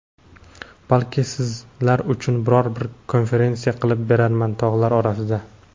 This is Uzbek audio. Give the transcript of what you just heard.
Balki sizlar uchun biror bir konferensiya qilib berarman tog‘lar orasida.